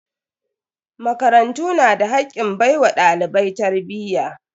Makarantu na da hakkin baiwa dalibai tarbiyya.